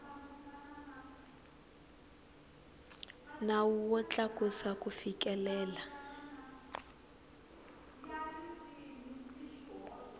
nawu wo tlakusa ku fikelela